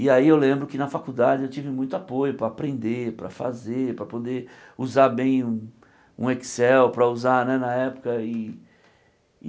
E aí eu lembro que na faculdade eu tive muito apoio para aprender, para fazer, para poder usar bem um um Excel para usar né na época e.